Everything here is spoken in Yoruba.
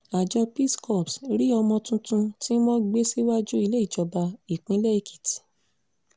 àjọ peace corps rí ọmọ tuntun tí wọ́n gbé síwájú ilé ìjọba ìpínlẹ̀ èkìtì